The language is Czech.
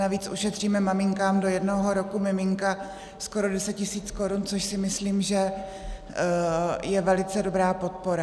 Navíc ušetříme maminkám do jednoho roku miminka skoro 10 000 korun, což si myslím, že je velice dobrá podpora.